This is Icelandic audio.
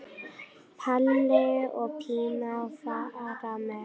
Palli og Pína fara með.